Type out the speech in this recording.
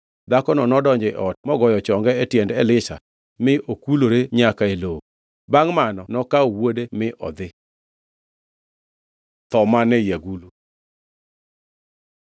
Dhakono nodonjo e ot mogoyo chonge e tiend Elisha mi okulore nyaka e lowo. Bangʼ mano nokawo wuode mi odhi. Tho man ei agulu